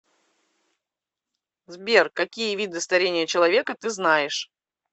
сбер какие виды старение человека ты знаешь